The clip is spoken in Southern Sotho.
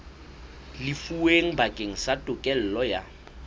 lefuweng bakeng sa tokelo ya